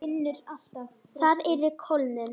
Það yrði kólnun.